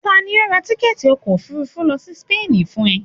tani o ra tikẹti ọkọ ofúrúfú lo si Paris fún e?